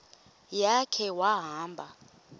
ya khe wahamba